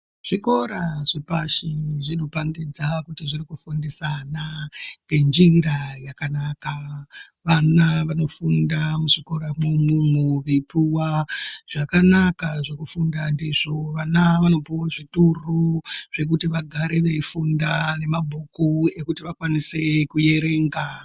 Zvikora zvepashi zvinopandidza kuti zviri kufundisa ana ngenjira yakanaka vana vanofunda muzvikora mwona imwomwo veipuwa zvakanaka zvekushinga ndizvo vana vanopuwa kuzvitoro Zvekuti zvagara veifunda nemabhuku ekuti vakwanise kuerenga.